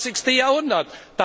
21. Jahrhundert.